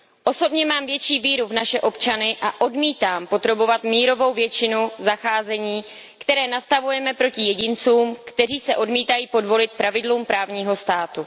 Osobně mám větší víru v naše občany a odmítám podrobovat mírovou většinu zacházení, které nastavujeme proti jedincům, kteří se odmítají podvolit pravidlům právního státu.